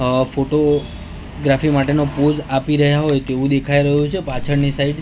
અ photography માટેનો pose આપી રહ્યા હોય તેવું દેખાય રહ્યું છે પાછળની સાઈડ --